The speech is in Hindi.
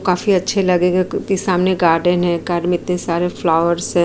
काफी अच्छे लगेंगे क्योंकि सामने गार्डन है। गार्डन में इतने सारे फ्लावर्स हैं।